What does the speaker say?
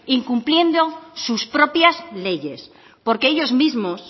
incumpliendo sus propias leyes porque ellos mismos